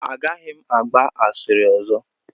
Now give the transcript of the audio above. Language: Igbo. Agaghị m agba asịrị ọzọ.